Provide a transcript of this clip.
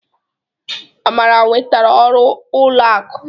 Amara nwetara ọrụ ụlọ akụ.